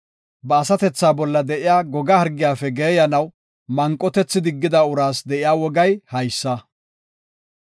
Ba asatethaa bolla de7iya goga hargiyafe geeyanaw manqotethi diggida uraas de7iya wogay haysa.